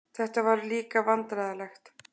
Þetta var líka vandræðalegt.